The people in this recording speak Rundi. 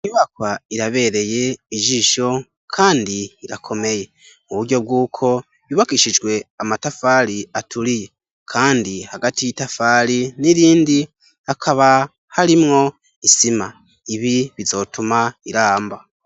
Inyubakwa irabereye ijisho kandi irakomeye. Mu buryo bw'uko yubakishijwe amatafari aturiye kandi hagati y'itafari n'irindi, hakaba harimwo isima. Ibi bizotuma iramba.